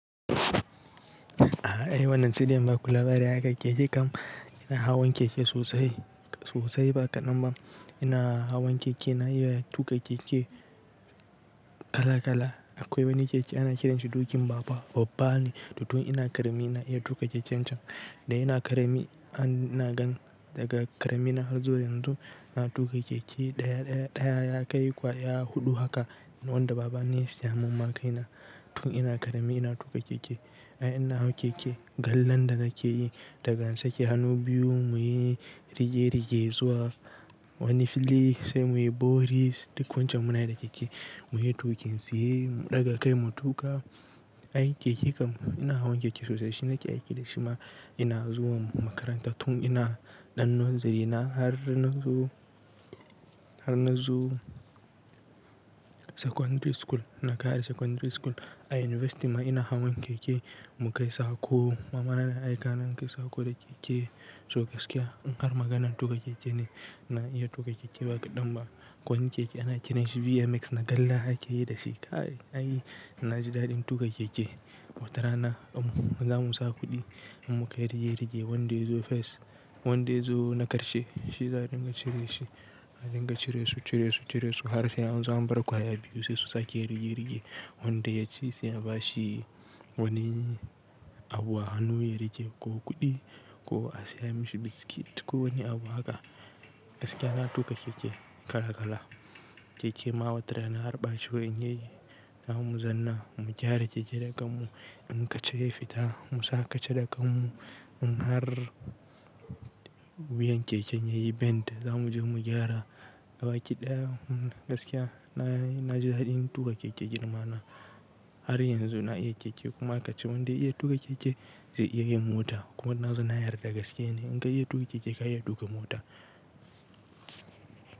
A'a, ai wannan saidai in ba ku labari akan keke kam. Ina hawan keke sosai, sosai ba kaɗan ba, ina hawan keke, na iya tuƙa keke, kala kala. Akwai wani keke ana kiranshi dokin baba, babba ne. To tun ina ƙarami na iya tuƙa keken can. Da ina ƙarami, ina gan daga ƙarami na har zuwa yanzu na tuƙa keke, Ɗaya ɗaya ɗaya ya kai ƙwa ya huɗu haka, wanda baba ne ya siya mun ma kai na, tun ina ƙarami ina tuƙa keke, Ai ina hawan keke, gallan da nake yi, daga in sake hannu biyu muyi rige-rige zuwa wani fili, sai muyi boris, duk wancan munayi da keke. Muyi tukin tsaye, mu ɗaga kai mu tuƙa. Ai keke kam, ina hawan keke sosai. Shi nake aiki da shi ma, ina zuwa makaranta tun ina ɗan nursery na, har na zo, har na zo secondary school, na ƙare secondary school. A university ma ina hawan keke, mu kai sako. Mama na na aika ni in kai sako da keke. To gaskiya, in har maganan tuƙa keke ne, na iya tuƙa keke ba kaɗan ba. Akwai wani keke ana kiranshi BMX na galla ake yi da shi. Kai ai, na ji daɗin tuƙa keke. Watara na, ɗan mu, za mu sa kuɗi, in mu kai rige-rige wanda ya zo first. Wanda ya zo na ƙarshe, shi za'a dinga cire shi. Mu dinga cire su, cire su, cire su, har sai an zo an bar ƙwaya biyu sai su sake yin rige-rige. Wanda ya ci sai a bashi wani abu a hannu ya riƙe, ko kuɗi, ko a siya mishi biskit, ko wani abu haka. Gaskiya na tuƙa keke kala kala. Keke ma watara na, har ɓaci wa in ya yi, za mu zanna mu gyara keke da kan mu. In ka cire fita, mu sa ka ce da kanmu. In har, wuyan keken yayi bend za mu je mu gyara, Gabaki ɗaya gaskiya, na--nayi, na ji daɗin tuƙa keke girma na. Har yanzu na iya keke kuma aka ce wanda ya iya tuƙa keke zai iya yin mota. Kuma na zo na yarda gaskiya ne, in ka iya tuƙa keke ka iya tuƙa mota.